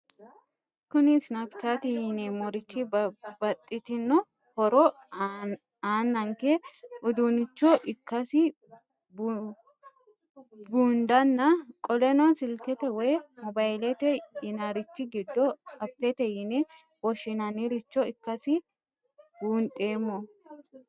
Kuni Snapchat yineemorich babaxitino hora aananke udunicho ikasi bundnanna qoleno silikete woyi mobayilete yinanirich gido appete yine woshinaniricho ikasi bundhemo?